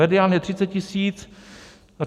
Medián je 30 tisíc.